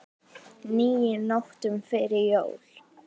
níu nóttum fyrir jól